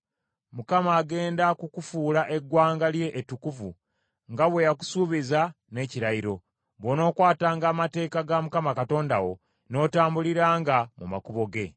Mukama agenda kukufuula eggwanga lye ettukuvu nga bwe yakusuubiza n’ekirayiro, bw’onookwatanga amateeka ga Mukama Katonda wo n’otambuliranga mu makubo ge.